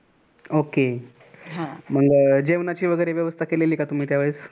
okay मग जेवणाची वगैरे व्यवस्था केलेली का तुम्ही त्यावेळेस?